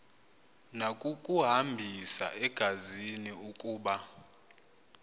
nakukuhambisa engazi ukuba